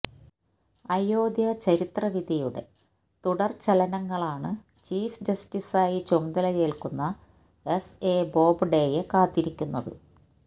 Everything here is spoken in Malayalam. അയോധ്യാ ചരിത്ര വിധിയുടെ തുടര്ചലനങ്ങളാണ് ചീഫ് ജസ്റ്റിസായി ചുമതലയേല്ക്കുന്ന എസ്എ ബോബ്ഡെയെ കാത്തിരിക്കുന്നത്